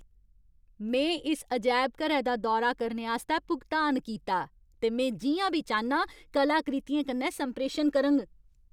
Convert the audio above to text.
में इस अजैबघरै दा दौरा करने आस्तै भुगतान कीता, ते में जि'यां बी चाह्न्नां कलाकृतियें कन्नै संप्रेशन करङ!